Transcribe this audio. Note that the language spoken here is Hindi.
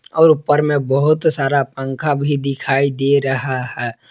और ऊपर में बहुत सारा पंखा भी दिखाई दे रहा है।